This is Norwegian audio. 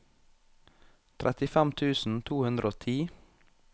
trettifem tusen to hundre og ti